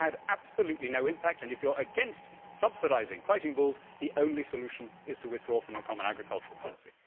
It would have had absolutely no impact, and if you are against subsidising fighting bulls the only solution is to withdraw from the common agricultural policy.